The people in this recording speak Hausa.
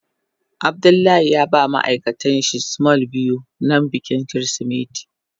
Abdullahi ya ba ma ma'aikatan shi small biyu don bikin kirisimeti.